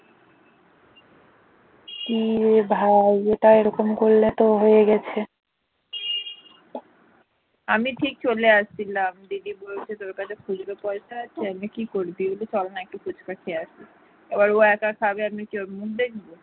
আমি ঠিক চলে আসছিলাম দিদি বলছে তোর কাছে খুচরো পয়সা আছে কি করবি চল না একটু ফুচকা খেয়ে আসি এবার ও একা খাবে আমি কি ওর মুখ দেখবো